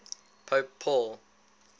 pope paul